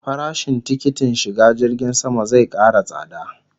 Farashin tikitin shiga jirgin sama zai kara tsada